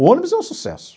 O ônibus é um sucesso.